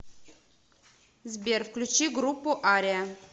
сбер включи группу ариа